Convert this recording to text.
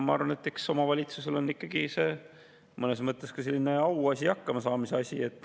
Ma arvan, et eks see on omavalitsusele mõnes mõttes ka selline auasi, hakkamasaamise asi.